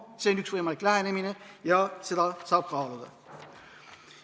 See on üks võimalikke lähenemisi ja seda saab kaaluda.